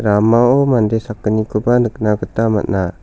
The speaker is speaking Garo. ramao mande sakgnikoba nikna gita man·a.